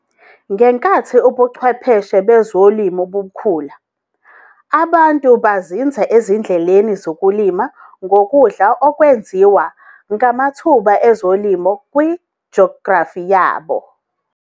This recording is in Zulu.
Ngenkathi ubuchwepheshe bezolimo bukhula, abantu bazinza ezindleleni zokulima ngokudla okwenziwe ngamathuba ezolimo ku-geography yabo.